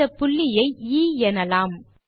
இந்த புள்ளி ஐ எ எனலாம்